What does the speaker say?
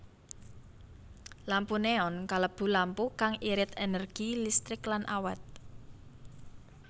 Lampu neon kalebu lampu kang irit énérgi listrik lan awét